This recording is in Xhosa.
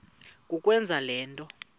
kukwenza le nto